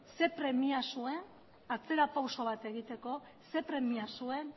ze premia zuen atzera pauso bat egiteko zer premia zuen